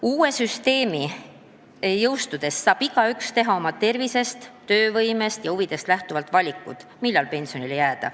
Uue süsteemi jõustudes saab igaüks teha oma tervisest, töövõimest ja huvidest lähtuvalt valiku, millal pensionile jääda.